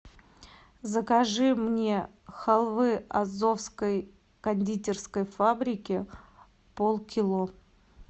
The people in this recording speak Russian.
закажи мне халвы азовской кондитерской фабрики полкило